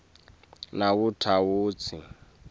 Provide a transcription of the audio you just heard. nawutawutsi